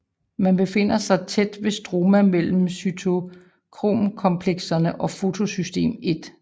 Det befinder sig tæt ved stroma mellem cytokromkomplekserne og fotosystem I